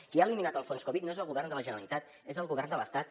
qui ha eliminat el fons covid no és el govern de la generalitat és el govern de l’estat